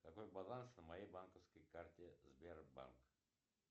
какой баланс на моей банковской карте сбербанк